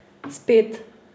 Spet ...